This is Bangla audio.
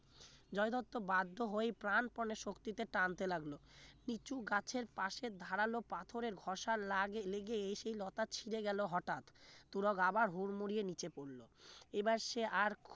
জয় দত্ত বাধ্য হয়ে প্রাণ প্রাণে শক্তিতে টানতে লাগলো লিচু গাছের পাশে ধারালো পাথরে ঘষা লাগে লেগে সেই লতা ছিড়ে গেল হঠাৎ তুরক আবার হুর মুড়িয়ে নিচে পড়ল এবার সে আর